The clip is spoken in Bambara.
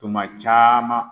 Tuma caman